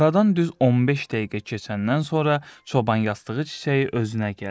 Aradan düz 15 dəqiqə keçəndən sonra çoban yastığı çiçəyi özünə gəldi.